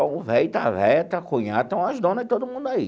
O velho, está a velha, está a cunhada, tem umas dona e todo mundo aí.